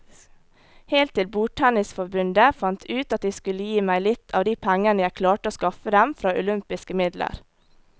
Helt til bordtennisforbundet fant ut at de skulle gi meg litt av de pengene jeg klarte å skaffe dem fra olympiske midler.